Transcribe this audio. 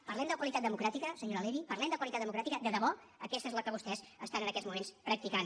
parlem de qualitat democràtica senyora levy parlem de qualitat democràtica de debò aquesta és la que vostès estan en aquests moments practicant